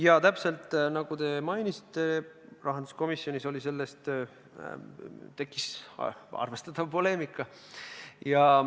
Jaa, täpselt nagu te mainisite, tekkis rahanduskomisjonis sel teemal arvestatav poleemika.